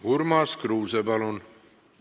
Urmas Kruuse, palun!